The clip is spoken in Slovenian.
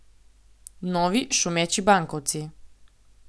Novi, šumeči bankovci.